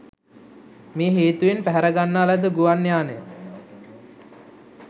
මේ හේතුවෙන් පැහැරගන්නා ලද ගුවන් යානය